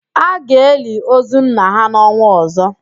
A ga-eli ozu nna ha n'ọnwa ọ̀zọ́.